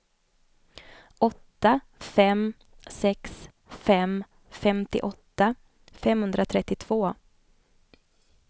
åtta fem sex fem femtioåtta femhundratrettiotvå